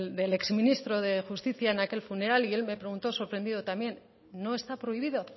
del ex ministro de justicia en aquel funeral y me preguntó sorprendido también no está prohibido